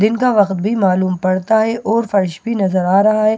दिन का वक्त भी मालूम पड़ता हैं और फर्श भी नजर आ रहा हैं सामने --